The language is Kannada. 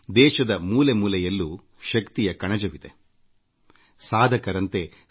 ದೇಶದ ಪ್ರತಿಯೊಂದು ಮೂಲೆಯಲ್ಲೂ ಎಷ್ಟೊಂದು ಪ್ರತಿಭಾವಂತ ಜನರಿದ್ದಾರೆ ಎಂಬುದು ಎಲ್ಲರಿಗೂ ವೇದ್ಯವಾಗುತ್ತದೆ